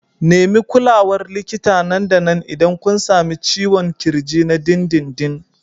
Nemi kulawar likita nan da nan idan kun sami ciwon ƙirji na dindindin.